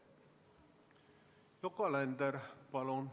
Yoko Alender, palun!